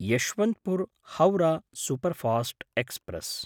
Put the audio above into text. यश्वन्तपुर् हौरः superfast express